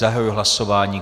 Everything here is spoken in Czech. Zahajuji hlasování.